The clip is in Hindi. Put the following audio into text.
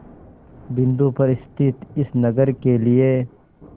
बिंदु पर स्थित इस नगर के लिए